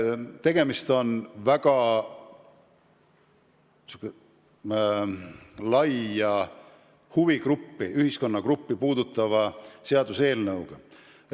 Tegemist on väga laia ühiskonnagruppi puudutava seaduseelnõuga.